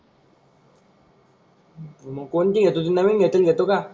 मग कोणती घेतोस नवीन घेतलेली घेतो को?